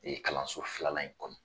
E kalanso filanan in kɔnɔ